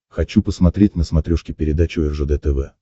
хочу посмотреть на смотрешке передачу ржд тв